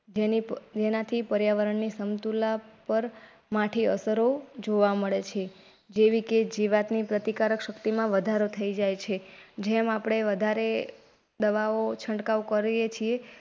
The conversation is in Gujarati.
જેના થી પર્યાવરણની સમતુલા પર માઠી અસરો જોવા મળે છે. જેવી કે જીવાતની પ્રતિકારક શક્તિમાં વધારો થઈ જાય. જેમ આપડે વધારે દવાઓ છંટકાવ કરીએ છે.